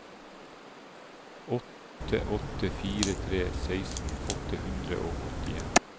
åtte åtte fire tre seksten åtte hundre og åttien